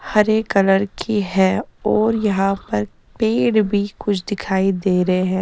हरे colour की है और यहां पर पेड़ भी कुछ दिखाई दे रहे हैं।